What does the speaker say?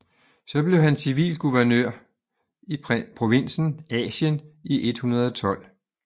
Så blev han civil guvernør i provinsen Asien i 112